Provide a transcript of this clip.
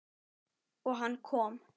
Og hann kom.